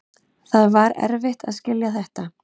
Það var erfitt að skilja þetta.